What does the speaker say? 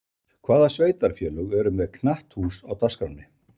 Hvaða sveitarfélög eru með knatthús á dagskránni?